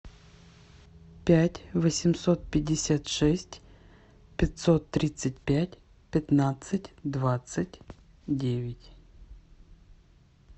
пять восемьсот пятьдесят шесть пятьсот тридцать пять пятнадцать двадцать девять